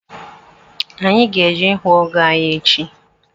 anyị ga-eje ihụ ọgọ anyị echi